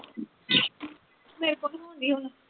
ਸਿਰ ਪਕਵਾਉਂਦੀ ਹੁਣ